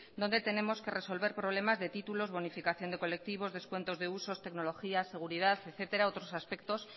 donde tenemos que resolver problemas de títulos bonificación de colectivos descuentos de usos tecnología seguridad etcétera otros aspectos